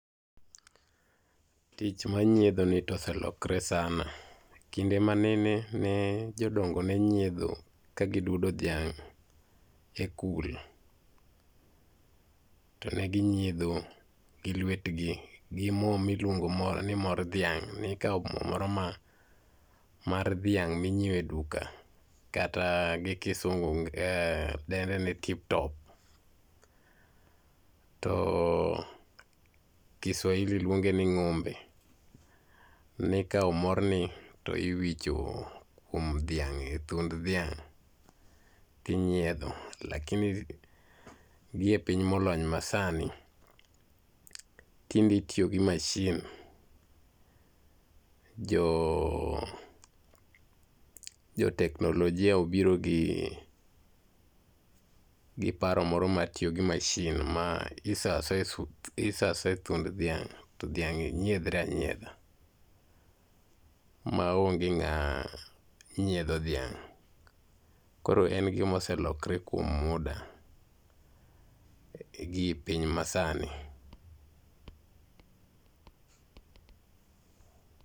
Tich mar nyiedhoni to oselokre sana. Kinde ma nene, ne jodongo ne nyiedho kagidwa duodo dhiang' ekul to ne ginyiedho gi luetgi gi mo miluongo ni mor dhiang'. Ne ikawo mo moro mar dhiang' minyiewo e duka kata gi kisungu dende ni tip top, to Kiswahili luonge ni Ng'ombe. Ne ikawo morni to iwicho kuom dhiang' e thund dhiang' lakini gi e piny molony masani tindie itiyo gi masin. Jo jo teknolojia obiro gi gi paro moro mar tiyo gi masin. Isoyo asoya e thund dhiang' to dhiang' nyiedhre anyiedha. maonge ng'ama nyiedho dhiang' koro en gima oselokre kuom muda gi piny masani